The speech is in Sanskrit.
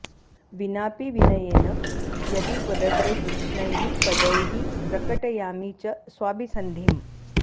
विनापि विनयेन यदि त्वदग्रे तीक्ष्णैः पदैः प्रकटयामि च स्वाभिसंधिम्